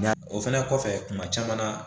Nka o fɛnɛ kɔfɛ kuma caman na